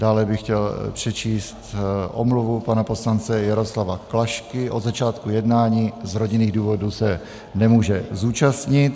Dále bych chtěl přečíst omluvu pana poslance Jaroslava Klašky, od začátku jednání z rodinných důvodů se nemůže zúčastnit.